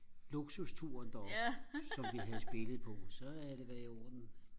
luksusturen deroppe som vi havde spillet på så havde det været i orden